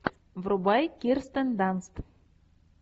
врубай кирстен данст